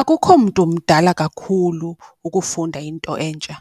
Akukho mntu mdala kakhulu ukufunda into entsha,